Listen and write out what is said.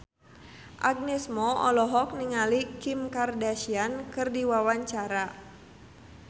Agnes Mo olohok ningali Kim Kardashian keur diwawancara